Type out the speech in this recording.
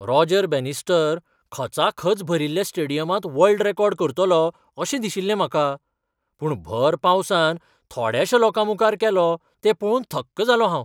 Roger Bannister खचाखच भरिल्ल्या स्टेडियमांत वर्ल्ड रॅकॉर्ड करतलो अशें दिशिल्लें म्हाका, पूण भर पावसांत थोड्याशा लोकांमुखार केलो तो पळोवन थक्क जालों हांव.